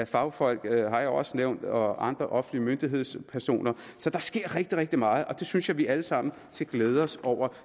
fagfolk har jeg også nævnt og af andre offentlige myndighedspersoner så der sker rigtig rigtig meget og det synes jeg vi alle sammen skal glæde os over